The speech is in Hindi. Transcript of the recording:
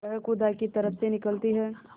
वह खुदा की तरफ से निकलती है